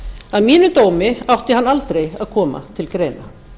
að mínum dómi átti hann aldrei að koma til greina